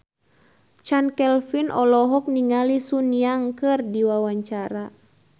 Chand Kelvin olohok ningali Sun Yang keur diwawancara